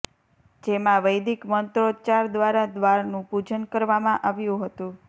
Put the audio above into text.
જેમાં વૈદિક મંત્રોચ્ચાર દ્વારા દ્વારનું પૂજન કરવામાં આવ્યું હતું